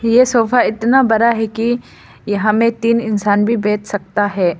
ये सोफा इतना बड़ा है कि यहां में तीन इंसान भी बैठ सकता है।